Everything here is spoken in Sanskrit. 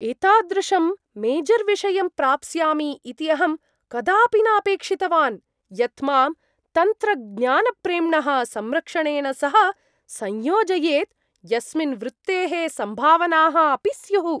एतादृशं मेजर्विषयं प्राप्स्यामि इति अहं कदापि न अपेक्षितवान् यत् मां तन्त्रज्ञानप्रेम्णः संरक्षणेन सह संयोजयेत्, यस्मिन् वृत्तेः सम्भावनाः अपि स्युः।